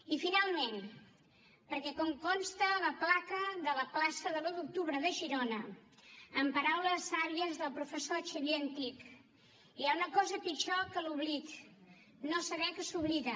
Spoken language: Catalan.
i finalment perquè com consta a la placa de la plaça de l’u d’octubre de girona amb paraules sàvies del professor xavier antich hi ha una cosa pitjor que l’oblit no saber que s’oblida